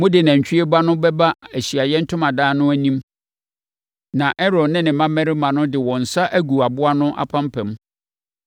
“Mode nantwie ba no bɛba Ahyiaeɛ Ntomadan no anim na Aaron ne ne mmammarima de wɔn nsa agu aboa no apampam.